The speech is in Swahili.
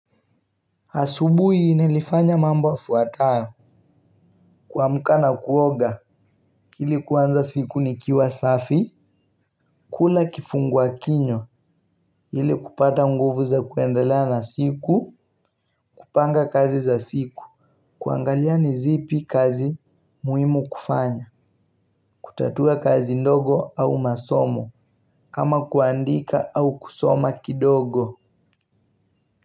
Asubuhi nilifanya mambo yafuatayo. Kuamka na kuoga ili kuanza siku nikiwa safi. Kula kifungua kinywa ili kupata nguvu za kuendelea na siku. Kupanga kazi za siku. Kuangalia ni zipi kazi muhimu kufanya. Kutatua kazi ndogo au masomo. Kama kuandika au kusoma kidogo.